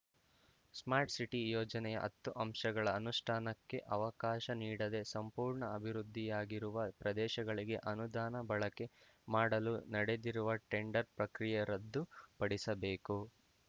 smart city ಯೋಜನೆಯ ಹತ್ತು ಅಂಶಗಳ ಅನುಷ್ಠಾನಕ್ಕೆ ಅವಕಾಶ ನೀಡದೆ ಸಂಪೂರ್ಣ ಅಭಿವೃದ್ಧಿ ಯಾಗಿರುವ ಪ್ರದೇಶಗಳಿಗೆ ಅನುದಾನ ಬಳಕೆ ಮಾಡಲು ನಡೆದಿರುವ ಟೆಂಡರ್ ಪ್ರಕ್ರಿಯೆ ರದ್ದು ಪಡಿಸಬೇಕು